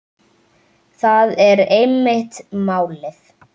Það er einmitt málið.